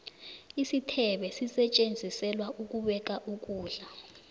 isithebe sisetjenziselwa ukubeka ukulda